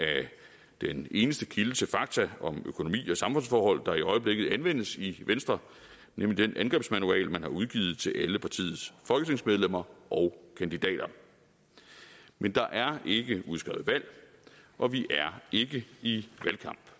den eneste kilde til fakta om økonomi og samfundsforhold der i øjeblikket anvendes i venstre nemlig den angrebsmanual man har udgivet til alle partiets folketingsmedlemmer og kandidater men der er ikke udskrevet valg og vi er ikke i valgkamp